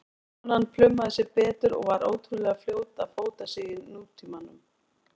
Konan plumaði sig betur og var ótrúlega fljót að fóta sig í nútímanum.